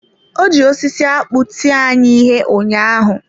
Ọ ji osisi akpụ tie anyị ihe ụnyaahụ.